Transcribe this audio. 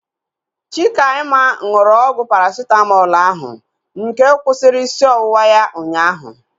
Chikaima nụrụ ọgwụ Parasitamọlu ahu nke kwụsịrị isi ọwụwa ya ụnyaahụ